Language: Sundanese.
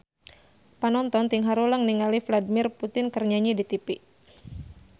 Panonton ting haruleng ningali Vladimir Putin keur nyanyi di tipi